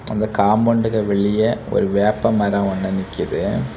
அந்த காம்பவுண்டுக்கு வெளியே ஒரு வேப்பமரம் ஒன்னு நிக்குது.